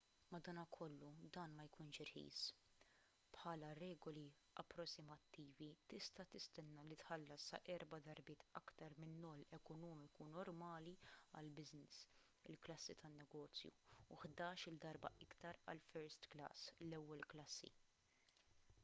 madankollu dan ma jkunx irħis: bħala regoli approssimattivi tista’ tistenna li tħallas sa erba’ darbiet aktar min-noll ekonomiku normali għall-business il-klassi tan-negozju u ħdax-il darba iktar għall-first class l-ewwel klassi!